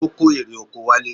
Ó kó erè oko wálé.